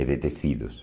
É de tecidos.